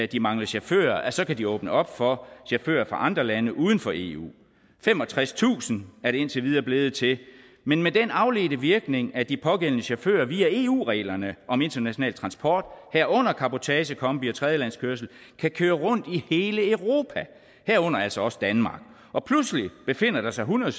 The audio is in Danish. de mangler chauffører så kan de åbne op for chauffører fra andre lande uden for eu femogtredstusind er det indtil videre blevet til men med den afledte virkning at de pågældende chauffører via eu reglerne om international transport herunder cabotage kombi og tredjelandskørsel kan køre rundt i hele europa herunder altså også danmark og pludselig befinder der sig hundrede